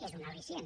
és un al·licient